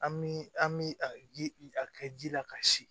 An bi an bi a ji a kɛ ji la ka si